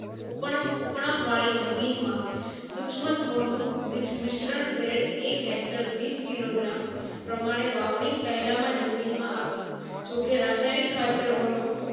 ઉપનપ ઉપ્ણપ વળી જમીન માં સુક્ષ્માંતોનું મિશ્રણ grade એક hector વિશ kilogram પ્રમાણે વાવણી પહેલા જમીન માં આપવું જો કે રાસાયણિક ખતરો નો